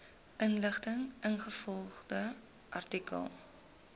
inligting ingevolge artikel